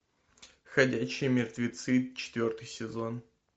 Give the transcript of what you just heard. ходячие мертвецы четвертый сезон